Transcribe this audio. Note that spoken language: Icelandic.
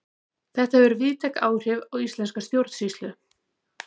Þetta hefur víðtæk áhrif á íslenska stjórnsýslu.